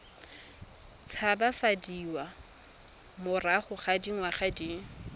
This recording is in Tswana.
tshabafadiwa morago ga dingwaga di